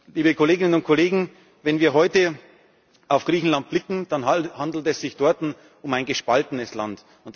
Liebe Kolleginnen und Kollegen, wenn wir heute auf Griechenland blicken, dann handelt es sich dort um ein gespaltenes